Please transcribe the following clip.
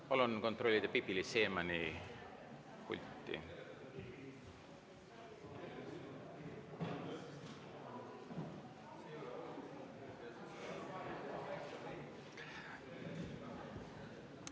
Palun kontrollida Pipi-Liis Siemanni pulti.